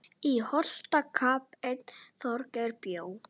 Í Holti kappinn Þorgeir bjó.